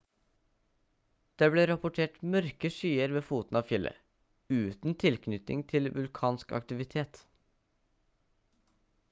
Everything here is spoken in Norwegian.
det ble rapportert mørke skyer ved foten av fjellet uten tilknytning til vulkansk aktivitet